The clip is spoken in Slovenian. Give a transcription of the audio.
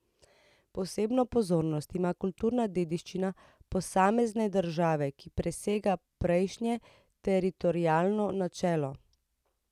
Posebno pozornost ima kulturna dediščina posamezne države, ki presega prejšnje teritorialno načelo.